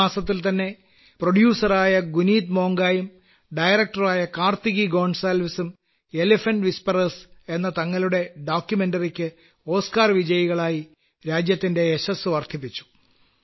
ഈ മാസത്തിൽതന്നെ പ്രൊഡ്യൂസറായ ഗുനീത്മോംഗായും ഡയറക്ടറായ കാർത്തികി ഗോൺസാൽവിസും എലെഫന്റ്റ് വിസ്പറേഴ്സ് എന്ന തങ്ങളുടെ ഡോക്യുമെന്ററിയ്ക്ക് ഓസ്കർ വിജയകളായി രാജ്യത്തിന്റെ യശസ്സ് വർദ്ധിപ്പിച്ചു